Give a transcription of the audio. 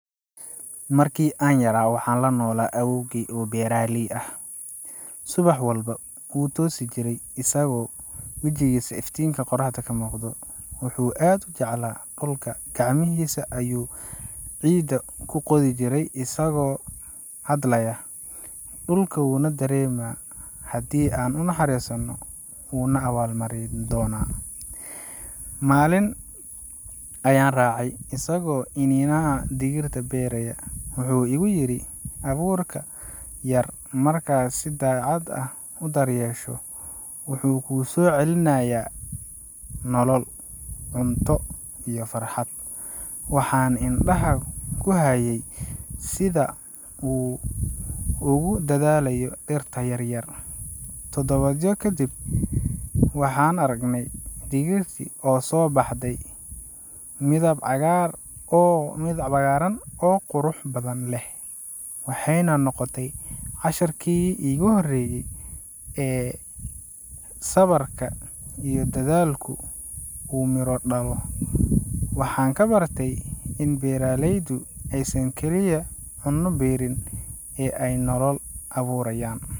Markii aan yaraa, waxaan la noolaa awoowgay oo beeraley ah. Subax walba, wuu toosi jiray isagoo wejigiisa iftiinka qoraxda ka muuqdo. Wuxuu aad u jeclaa dhulka, gacmihiisa ayuu ciidda ku qodi jiray isagoo hadlaya, “Dhulku wuu na dareemaa, haddii aan u naxariisanno, wuu na abaal marin doonaa.” Maalin ayaan raacay isagoo iniinaha digirta beeraya. Wuxuu igu yiri, “Abuurkan yar, marka aad si daacad ah u daryeesho, wuxuu kuu soo celinayaa nolol, cunto, iyo farxad.” Waxaan indhaha ku hayay sida uu ugu dadaalayo dhirta yaryar. Todobaadyo kadib, waxaan aragnay digirtii oo soo baxday, midab cagaaran oo qurux badan leh, waxayna noqotay casharkii iigu horeeyay ee sabarka iyo dadaalku uu miro dhalo. Waxaan ka bartay in beeralaydu aysan kaliya cunno beerin, ee ay nolol abuurayaan.